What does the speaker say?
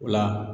O la